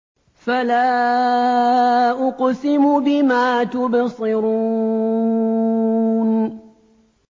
فَلَا أُقْسِمُ بِمَا تُبْصِرُونَ